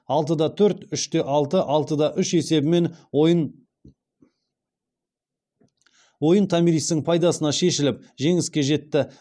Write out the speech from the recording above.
алты да төрт үш те алты алты да үш есебімен ойын томиристің пайдасына шешіліп жеңіске жетті